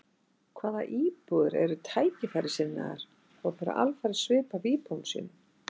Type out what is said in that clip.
Hvað íbúðir eru tækifærissinnaðar og bera alfarið svip af íbúum sínum.